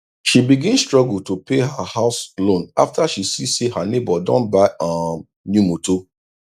she begin struggle to pay her house loan afta she see say her neighbor don buy um new motor